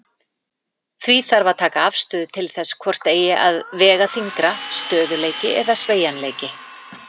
Því þarf að taka afstöðu til þess hvort eigi að vega þyngra, stöðugleiki eða sveigjanleiki.